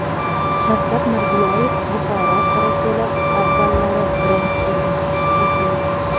Shavkat Mirziyoyev: Buxoro qorako‘li avvallari brend edi.